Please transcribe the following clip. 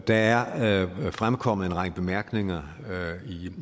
der er fremkommet en række bemærkninger